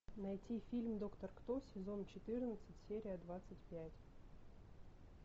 найти фильм доктор кто сезон четырнадцать серия двадцать пять